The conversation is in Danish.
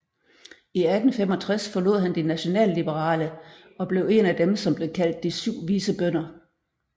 I 1865 forlod han de nationalliberale og blev en af dem som blev kaldt de syv vise Bønder